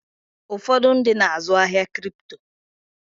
Ụfọdụ ndị na-azụ ahịa Kripto.